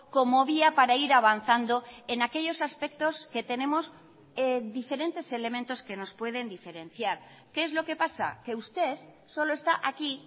como vía para ir avanzando en aquellos aspectos que tenemos diferentes elementos que nos pueden diferenciar qué es lo que pasa que usted solo está aquí